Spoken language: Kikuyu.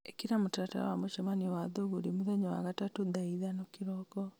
ĩkĩra mũtaratara wa mũcemanio wa thũgũrĩ mũthenya wa gatatũ thaa ithano kĩroko